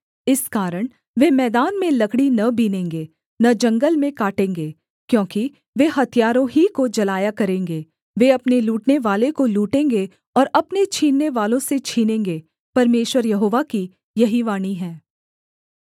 इस कारण वे मैदान में लकड़ी न बीनेंगे न जंगल में काटेंगे क्योंकि वे हथियारों ही को जलाया करेंगे वे अपने लूटनेवाले को लूटेंगे और अपने छीननेवालों से छीनेंगे परमेश्वर यहोवा की यही वाणी है